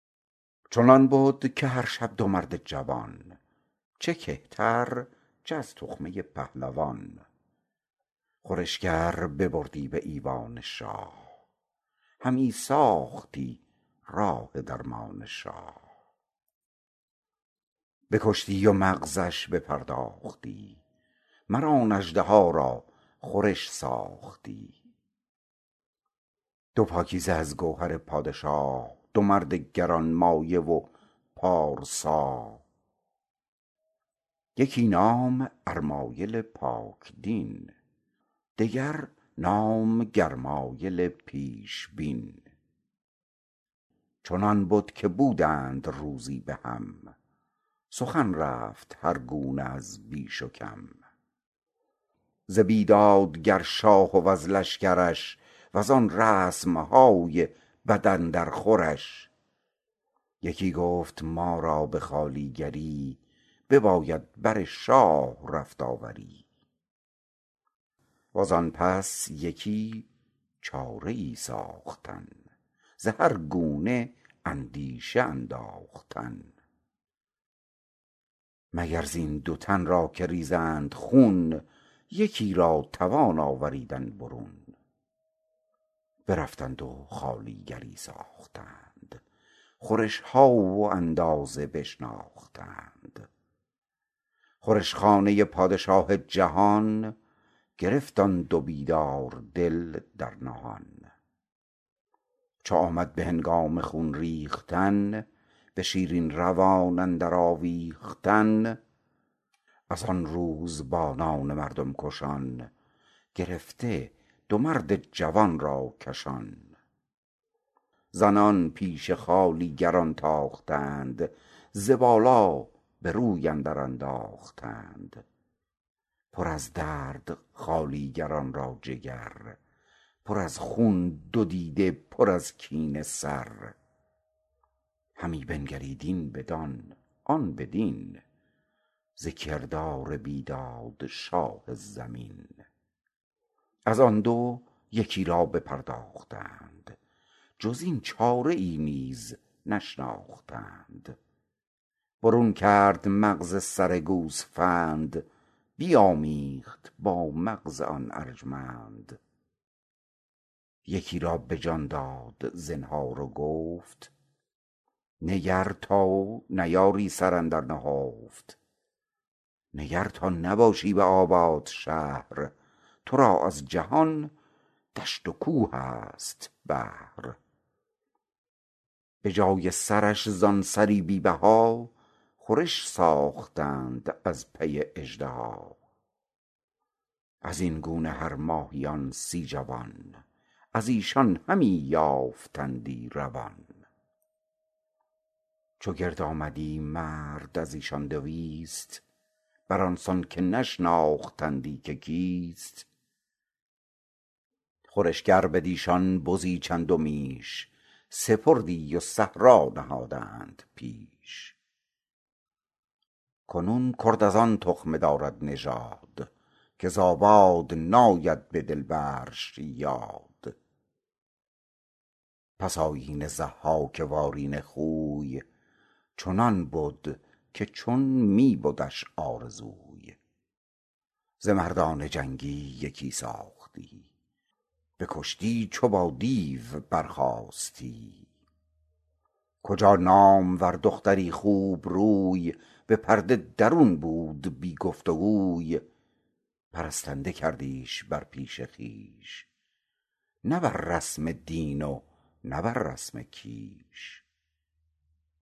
چنان بد که هر شب دو مرد جوان چه کهتر چه از تخمه پهلوان خورشگر ببردی به ایوان شاه همی ساختی راه درمان شاه بکشتی و مغزش بپرداختی مر آن اژدها را خورش ساختی دو پاکیزه از گوهر پادشا دو مرد گرانمایه و پارسا یکی نام ارمایل پاک دین دگر نام گرمایل پیشبین چنان بد که بودند روزی به هم سخن رفت هر گونه از بیش و کم ز بیدادگر شاه وز لشکرش و زان رسم های بد اندر خورش یکی گفت ما را به خوالیگری بباید بر شاه رفت آوری و زان پس یکی چاره ای ساختن ز هر گونه اندیشه انداختن مگر زین دو تن را که ریزند خون یکی را توان آوریدن برون برفتند و خوالیگری ساختند خورش ها و اندازه بشناختند خورش خانه پادشاه جهان گرفت آن دو بیدار دل در نهان چو آمد به هنگام خون ریختن به شیرین روان اندر آویختن از آن روزبانان مردم کشان گرفته دو مرد جوان را کشان زنان پیش خوالیگران تاختند ز بالا به روی اندر انداختند پر از درد خوالیگران را جگر پر از خون دو دیده پر از کینه سر همی بنگرید این بدان آن بدین ز کردار بیداد شاه زمین از آن دو یکی را بپرداختند جز این چاره ای نیز نشناختند برون کرد مغز سر گوسفند بیامیخت با مغز آن ارجمند یکی را به جان داد زنهار و گفت نگر تا بیاری سر اندر نهفت نگر تا نباشی به آباد شهر تو را از جهان دشت و کوه است بهر به جای سرش زان سری بی بها خورش ساختند از پی اژدها از این گونه هر ماهیان سی جوان از ایشان همی یافتندی روان چو گرد آمدی مرد از ایشان دویست بر آن سان که نشناختندی که کیست خورشگر بدیشان بزی چند و میش سپردی و صحرا نهادند پیش کنون کرد از آن تخمه دارد نژاد که ز آباد ناید به دل برش یاد پس آیین ضحاک وارونه خوی چنان بد که چون می بدش آرزوی ز مردان جنگی یکی خواستی بکشتی چو با دیو برخاستی کجا نامور دختری خوبروی به پرده درون بود بی گفت گوی پرستنده کردیش بر پیش خویش نه بر رسم دین و نه بر رسم کیش